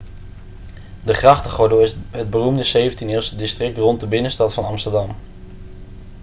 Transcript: de grachtengordel is het beroemde 17e-eeuwse district rondom de binnenstad van amsterdam